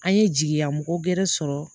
An ye jigiya mɔgɔ gɛrɛ sɔrɔ